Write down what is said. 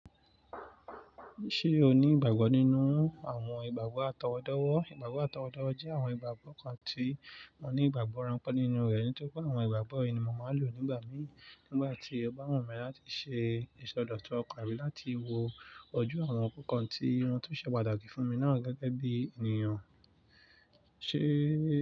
Ṣé o ní ìgbàgbọ́ nínú àwọn ìgbàgbọ́ atọwọ́dọ́wọ́? Ìgbàgbọ́ atọwọ́dọ́wọ́ jẹ́ àwọn ìgbàgbọ́ kan tí wọ́n ní ìgbàgbọ́ ránpẹ́ nínú rẹ̀ nítorí pé àwọn ìgbàgbọ́ yìí ni mo máa lò nígbà mí nígbà tí ó bá wù mí láti ṣe ìsọdọ̀tun ọkàn mi láti wo ojú àwọn nǹkan tí wọn tun ṣe pàtàkì fún mi náà gẹ́gẹ́ bí ènìyàn.